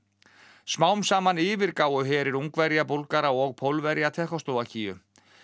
smám saman yfirgáfu herir Ungverja Búlgara og Pólverja Tékkóslóvakíu